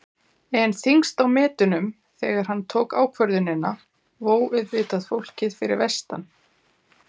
En þyngst á metunum þegar hann tók ákvörðunina vó auðvitað fólkið fyrir vestan.